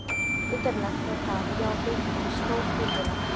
Undarlegt var það, já beinlínis stórfurðulegt.